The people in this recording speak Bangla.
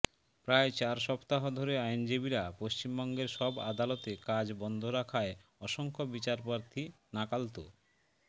প্রায় চার সপ্তাহ ধরে আইনজীবীরা পশ্চিমবঙ্গের সব আদালতে কাজ বন্ধ রাখায় অসংখ্য বিচারপ্রার্থী নাকাল তো